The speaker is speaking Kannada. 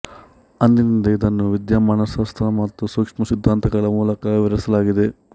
ಅಂದಿನಿಂದ ಇದನ್ನು ವಿದ್ಯಮಾನಶಾಸ್ತ್ರ ಮತ್ತು ಸೂಕ್ಷ್ಮ ಸಿದ್ಧಾಂತಗಳ ಮೂಲಕ ವಿವರಿಸಲಾಗಿದೆ